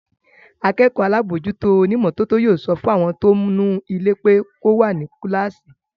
Akẹ́kọ̀ọ́ alábòójútó onímọ́tótó yóò sọ fún ẹni tí ó ń nu ilé pé kò wá nu kíláàsì